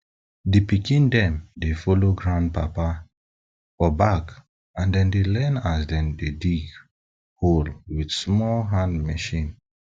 di pikin dem dey follow grandpapa for back and dem dey learn as dem dey dig hole with small hand machine